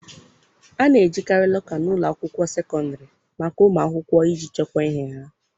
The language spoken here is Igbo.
A na-ejikarị lọka n' ụlọ akwụkwọ sekọndịrị maka ụmụ akwụkwọ iji chekwaa ihe ha.